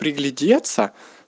приглядеться